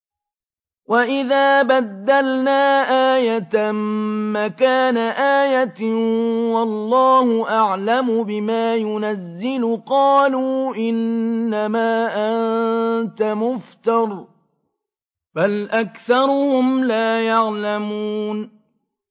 وَإِذَا بَدَّلْنَا آيَةً مَّكَانَ آيَةٍ ۙ وَاللَّهُ أَعْلَمُ بِمَا يُنَزِّلُ قَالُوا إِنَّمَا أَنتَ مُفْتَرٍ ۚ بَلْ أَكْثَرُهُمْ لَا يَعْلَمُونَ